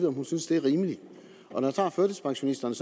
om hun synes det er rimeligt når jeg tager førtidspensionisterne